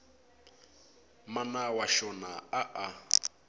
mana wa xona a a